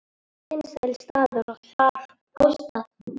Vinsæll staður og góð aðstaða